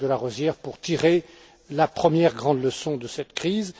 Jacques de Larosière pour tirer la première grande leçon de cette crise.